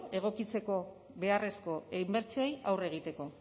egokitzeko beharrezko inbertsioei aurre egiteko